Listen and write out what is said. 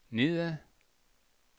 nedad